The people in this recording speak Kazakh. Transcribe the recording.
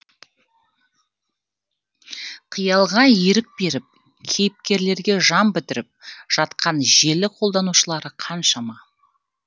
қиялға ерік беріп кейіпкерлерге жан бітіріп жатқан желі қолданушылары қаншама